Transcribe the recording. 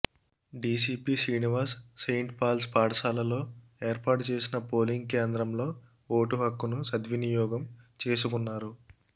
DCP Srinivas Saint Paul's పాఠశాలలో ఏర్పాటుచేసిన polling కేంద్రంలో ఓటు హక్కును సద్వినియోగం చేసుకున్నారు